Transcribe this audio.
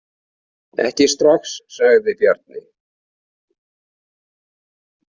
Ekki strax, sagði Bjarni.